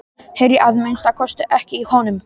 Heyri að minnsta kosti ekki í honum.